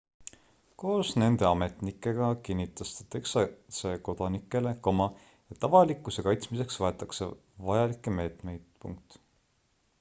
koos nende ametnikega kinnitas ta texase kodanikele et avalikkuse kaitsmiseks võetakse vajalikke meetmeid